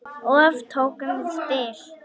Oft tókum við spil.